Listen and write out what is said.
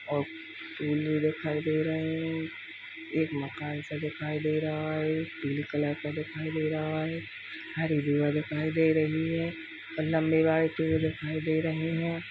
औ दिखाई दे रहे है| एक मकान सा दिखायी दे रहा है |पीले कलर का दिखाई दे रहा है | यह रिवर दिखाई दे रही है और लम्बे वाले पेड़ दिखाई दे रहे हैं।